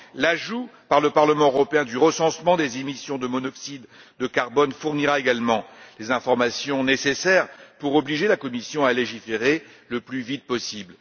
L'ajout par le Parlement européen du recensement des émissions de monoxyde de carbone fournira également les informations nécessaires pour obliger la Commission à légiférer le plus vite possible.